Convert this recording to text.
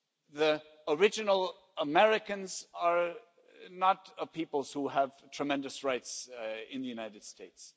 The original Americans are not a people who have tremendous rights in the United States.